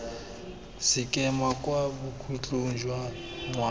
sekema kwa bokhutlhong jwa ngwaga